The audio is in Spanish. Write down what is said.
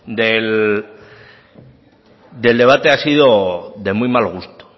del debate ha sido de muy mal gusto